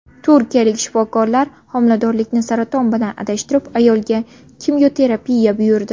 Turkiyalik shifokorlar homiladorlikni saraton bilan adashtirib, ayolga kimyoterapiya buyurdi.